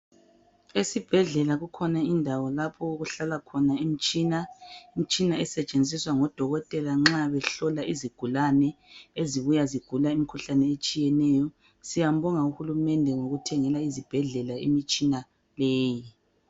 Esibhedlela kukhona indawo lapho okuhlala khona imtshina . Imtshina esetshenziswa ngodokotela nxa behlola izigulane ezibuya zigula imkhuhlane etshiyeneyo. Siyambonga uhulumende ngokuthengela izibhedlela imitshina leyi .